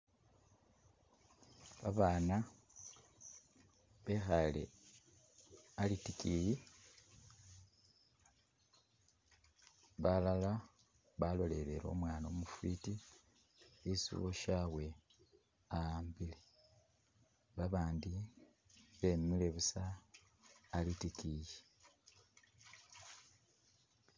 Babana bekhale alitikiyi balala balolele umwana umufiti isi uwashabwe a'ambile, abandi bemile buusa alitikiyi